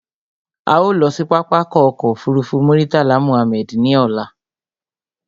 A ó lọ sí pápákọ̀ ọkọ̀ òfurufú Murtala Mohammed ní ọ̀la